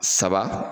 Saba